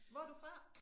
Hvor du fra?